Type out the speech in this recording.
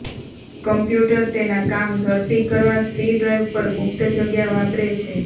computer તેના કામ ઝડપી કરવા સી ડ્રાઇવ પર મુક્ત જગ્યા વાપરે છે